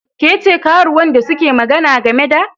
Ke ce karuwan da suke magana game da?